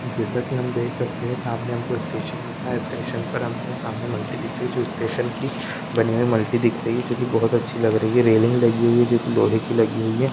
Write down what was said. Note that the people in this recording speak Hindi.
जैसा की हम देख सकते हैं सामने हमको स्टेशन दिखा है स्टेशन पर हमको सामने मल्टी दिख रही है जो स्टेशन की बनी हुई मल्टी दिख रही है जो की बहुत अच्छी लग रही है रैलिंग लगी हुई है जो की लोहे की लगी हुई है।